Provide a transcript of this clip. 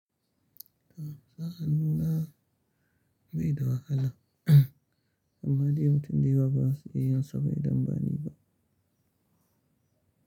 Da a hannu na bai da wahala, amma dai mutum da yawa ba su iya yin sauyi don bani ba.